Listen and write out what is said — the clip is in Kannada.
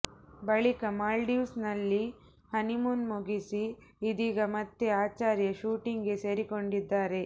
ಬಳಿಕ ಮಾಲ್ಡೀವ್ಸ್ ನಲ್ಲಿ ಹನಿಮೂನ್ ಮುಗಿಸಿ ಇದೀಗ ಮತ್ತೆ ಆಚಾರ್ಯ ಶೂಟಿಂಗ್ ಗೆ ಸೇರಿಕೊಂಡಿದ್ದಾರೆ